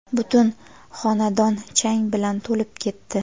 butun xonadon chang bilan to‘lib ketdi.